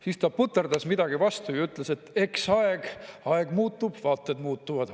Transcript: " Siis ta puterdas midagi vastu ja ütles, et eks aeg muutub, vaated muutuvad.